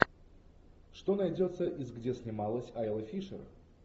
что найдется из где снималась айла фишер